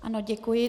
Ano, děkuji.